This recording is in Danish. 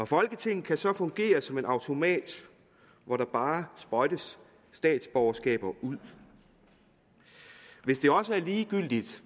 folketinget kan så fungere som en automat hvor der bare sprøjtes statsborgerskaber ud hvis det også er ligegyldigt